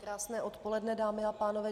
Krásné odpoledne, dámy a pánové.